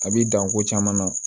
A bi dan ko caman na